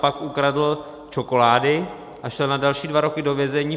Pak ukradl čokolády a šel na další dva roky do vězení.